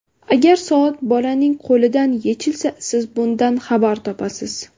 Agar soat bolaning qo‘lidan yechilsa, siz bundan xabar topasiz !